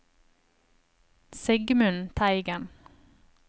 Sigmund Teigen